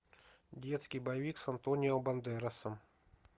детский боевик с антонио бандерасом